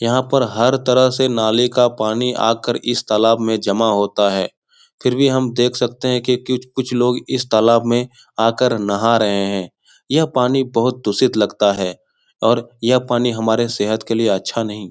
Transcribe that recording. यहाँ पर हर तरह से नाले का पानी आकर इस तालाब में जमा होता है फिर भी हम देख सकते हैं की कुछ लोग इस तालाब में आकर नहा रहें हैं। यह पानी बहुत दूषित लगता है और यह पानी हमारी सेहत के लिए अच्छा नही।